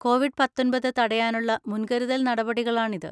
Covid പത്തൊൻപത് തടയാനുള്ള മുൻകരുതൽ നടപടികളാണിത്.